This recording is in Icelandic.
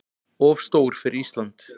Of stór fyrir Ísland.